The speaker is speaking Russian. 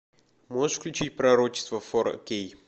можешь включить пророчество фор кей